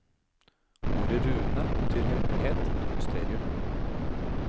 Ordet rune betyr hemmelighet eller mysterium.